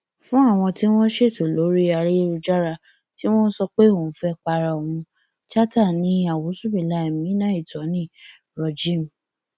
fún àwọn tí wọn ṣètò lórí ayélujára tí wọn sọ pé òun fẹẹ para òun chatta ní àwùṣúbúlàhí mínáàítóní rojeem